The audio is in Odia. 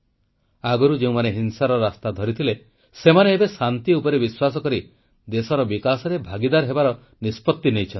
ଆଗରୁ ଯେଉଁମାନେ ହିଂସାର ରାସ୍ତା ଧରିଥିଲେ ସେମାନେ ଏବେ ଶାନ୍ତି ଉପରେ ବିଶ୍ୱାସ କରି ଦେଶର ବିକାଶରେ ଭାଗୀଦାର ହେବାର ନିଷ୍ପତ୍ତି ନେଇଛନ୍ତି